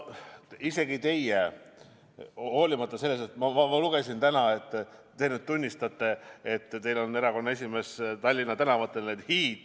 Aga ma lugesin täna, et te nüüd tunnistate, et teil on erakonna esimees Tallinna tänavatel.